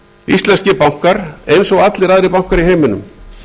íslenskir bankar eins allir aðrir bankar í heiminum